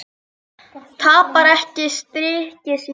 Tapar ekki styrk sínum.